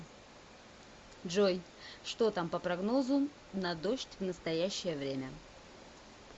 джой что там по прогнозу на дождь в настоящее время